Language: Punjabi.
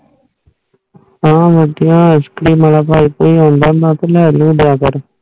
ਹੋਰ ਵਧੀਆ ਹੋਰ ਜੇ ਕੋਈ ਮੇਰਾ ਭਾਈ ਆਉਂਦਾ ਮੀਏਬ ਉਡਦੇ ਨਾ ਕੋਈ ਲੁ ਲਿਆ ਕਰ